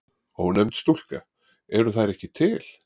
Ónefnd stúlka: Eru þær ekki til?